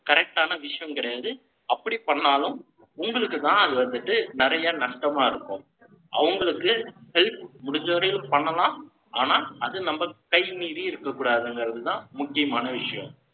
correct ஆன விஷயம் கிடையாது. அப்படி பண்ணாலும், உங்களுக்குத்தான், அது வந்துட்டு, நிறைய நஷ்டமா இருக்கும். அவங்களுக்கு, help முடிஞ்ச வரையும் பண்ணலாம். ஆனா, அது நம்ம கை மீறி இருக்கக் கூடாதுங்கிறதுதான், முக்கியமான விஷயம்.